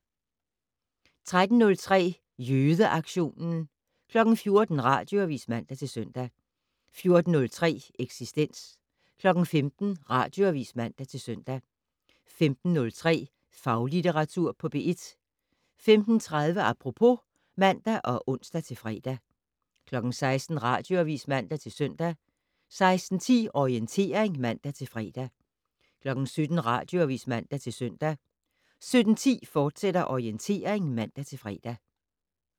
13:03: Jødeaktionen 14:00: Radioavis (man-søn) 14:03: Eksistens 15:00: Radioavis (man-søn) 15:03: Faglitteratur på P1 15:30: Apropos (man og ons-fre) 16:00: Radioavis (man-søn) 16:10: Orientering (man-fre) 17:00: Radioavis (man-søn) 17:10: Orientering, fortsat (man-fre)